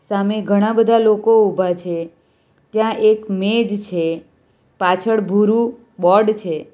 સામે ઘણા બધા લોકો ઉભા છે ત્યાં એક મેજ છે પાછળ ભૂરુ બોર્ડ છે.